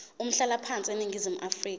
umhlalaphansi eningizimu afrika